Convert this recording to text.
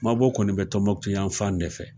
Mabɔ kɔni bɛ Tɔnbuktu yan fan de fɛ.